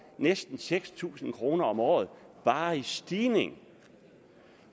næsten seks tusind kroner om året bare i stigning